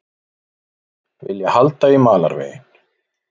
Vilja halda í malarveginn